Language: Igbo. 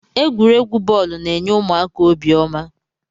Egwuregwu bọọlu n'enye ụmụaka obiọma.